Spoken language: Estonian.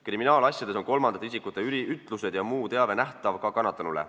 Kriminaalasjades on kolmandate isikute ütlused ja muu teave nähtav ka kannatanule.